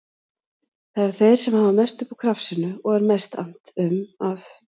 Það eru þeir sem hafa mest upp úr krafsinu og er mest annt um að